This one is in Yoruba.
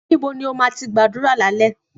Níbo ni ó má tí ń gbàdúrà lálẹ́?